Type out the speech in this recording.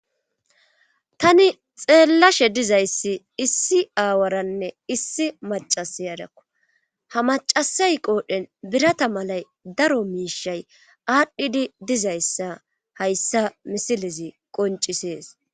Tani xeellashe dizayssi issi aawaranne issi macasay adakko ha macasay qoodhdhen birata malay daro miishay aadhdhidi dizayssa hayssa misilezi qoncisees